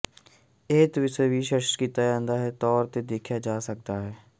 ਇਹ ਤਸਵੀਰ ਵਿਚ ਸਪੱਸ਼ਟ ਤੌਰ ਤੇ ਦੇਖਿਆ ਜਾ ਸਕਦਾ ਹੈ